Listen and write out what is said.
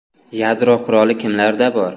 Yadro quroli kimlarda bor?